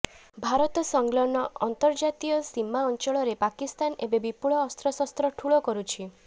ଭାରତ ସଂଲଗ୍ନ ଅନ୍ତର୍ଜାତୀୟ ସୀମା ଅଞ୍ଚଳରେ ପାକିସ୍ତାନ ଏବେ ବିପୁଳ ଅସ୍ତ୍ରଶସ୍ତ୍ର ଠୁଳ କରୁଛି